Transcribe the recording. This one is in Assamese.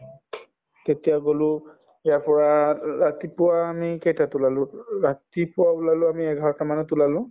তেতিয়া গলো ইয়াৰ পৰা ৰা‍ ৰাতিপুৱা আমি কেইটাত ওলালো ও ও ৰাতিপুৱা ওলালো আমি এঘাৰটামানত ওলালো